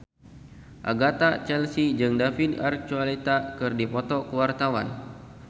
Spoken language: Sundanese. Agatha Chelsea jeung David Archuletta keur dipoto ku wartawan